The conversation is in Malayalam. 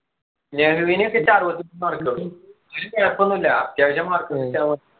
അറുപത്തൊന്നു mark ഉള്ളു ഒന്നും ഇല്ല അത്യാവശ്യം mark